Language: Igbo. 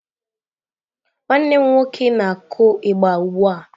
Nwanne m nwoke na kụ igba ugbụa.